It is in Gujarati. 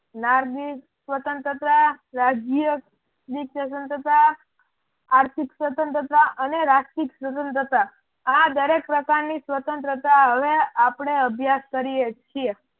નાર્જિ સ્વતંત્રતા રાજ્યની સ્વતંત્રતા આર્થિક સ્વતંત્રતા અને રાષ્ટ્રીક સ્વતંત્રતા આ દરેક પ્રકારની સ્વતંત્રતા હવે આપણે અભ્યાસ કરીએ છીએ.